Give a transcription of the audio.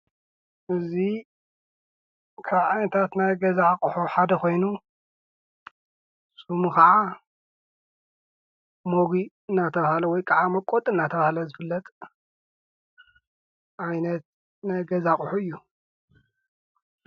እዚ ካብ ዓይነታት ናይ ገዛ ኣቑሑ ሓደ ኮይኑ ሽሙ ከዓ መጉእ እናተብሃለ ወይከዓ መውቀጢ እንተብሃለ ዝፍለጥ ዓይነት ናይ ገዛ ኣቑሑ እዩ።